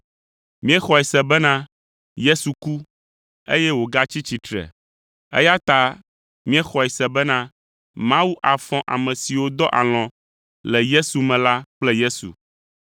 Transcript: Míexɔe se bena Yesu ku, eye wògatsi tsitre, eya ta míexɔe se bena Mawu afɔ ame siwo dɔ alɔ̃ le Yesu me la kple Yesu.